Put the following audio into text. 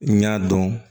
N y'a dɔn